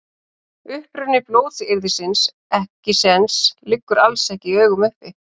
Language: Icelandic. Uppruni blótsyrðisins ekkisens liggur alls ekki í augum uppi.